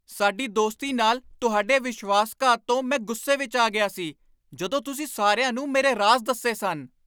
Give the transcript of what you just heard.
ਸਾਡੀ ਦੋਸਤੀ ਨਾਲ ਤੁਹਾਡੇ ਵਿਸ਼ਵਾਸਘਾਤ ਤੋਂ ਮੈਂ ਗੁੱਸੇ ਵਿੱਚ ਆ ਗਿਆ ਸੀ, ਜਦੋਂ ਤੁਸੀਂ ਸਾਰਿਆਂ ਨੂੰ ਮੇਰੇ ਰਾਜ਼ ਦੱਸੇ ਸਨ।